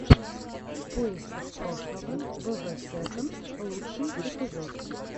в поисках прошлого вв сэконд лучший эпизод